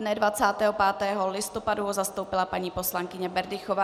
Dne 25. listopadu ho zastoupila paní poslankyně Berdychová.